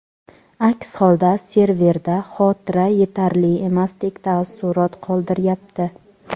aks holda serverda xotira yetarli emasdek taassurot qoldiryapti.